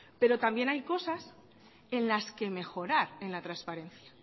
pero también hay cosas en las que mejorar en la transparencia